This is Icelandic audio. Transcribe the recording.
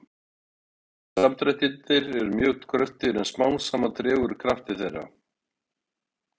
Fyrstu samdrættirnir eru mjög kröftugir en smám saman dregur úr krafti þeirra.